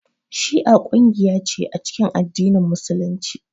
Shi'a kungiya ce a cikin addinin musulunci